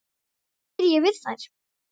Hvað ég geri við þær?